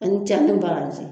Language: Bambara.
Ani ce, a ni baraji.